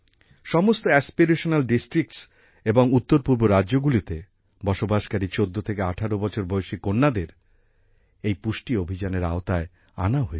সমস্ত aspirational districts এবং উত্তরপূর্ব রাজ্যগুলিতে বসবাসকারী 14 থেকে18 বছর বয়সী কন্যাদের এই পুষ্টি অভিযানের আওতায় আনা হয়েছে